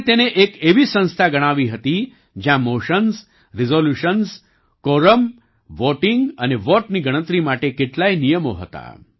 તેમણે તેને એક એવી સંસ્થા ગણાવી હતી જ્યાં મોશન્સ રિઝોલ્યુશન્સ કોરમ વોટિંગ અને વોટની ગણતરી માટે કેટલાય નિયમો હતા